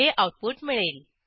हे आऊटपुट मिळेल